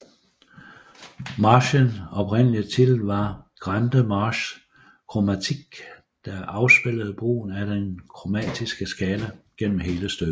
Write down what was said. Marchens oprindelige titel var Grande Marche Chromatique der afspejlede brugen af den kromatiske skala gennem hele stykket